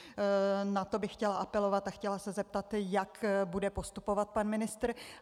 Na to bych chtěla apelovat a chtěla se zeptat, jak bude postupovat pan ministr.